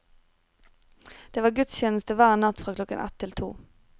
Det var gudstjeneste hver natt fra klokken ett til to.